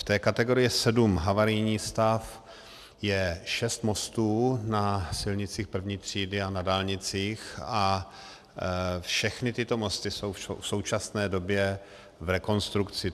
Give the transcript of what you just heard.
V té kategorii sedm havarijní stav je šest mostů na silnicích první třídy a na dálnicích a všechny tyto mosty jsou v současné době v rekonstrukci.